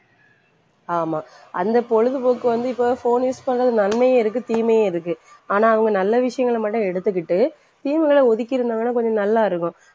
ஆமா அந்த பொழுதுபோக்கு வந்து இப்போ phone use பண்றது நன்மையும் இருக்கு தீமையும் இருக்கு. ஆனா அவங்க நல்ல விஷயங்களை மட்டும் எடுத்துக்கிட்டு தீமைகளை ஒதுக்கியிருந்தாங்கன்னா கொஞ்சம் நல்லாயிருக்கும்.